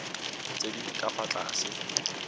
tse di ka fa tlase